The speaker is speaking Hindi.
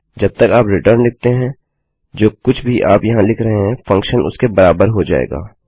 जब तक आप रिटर्न लिखते हैं जो कुछ भी आप यहाँ लिख रहे हैं फंक्शन उसके बराबर हो जाएगा